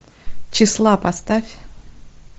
числа поставь